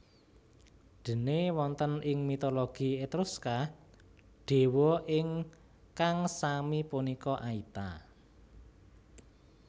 Déné wonten ing mitologi Etruska dewa ingkang sami punika Aita